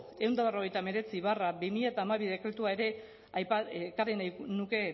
ehun eta berrogeita hemeretzi barra bi mila hamabi dekretua ere ekarri nahi nuke